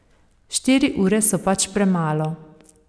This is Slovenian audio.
Štiri ure so pač premalo.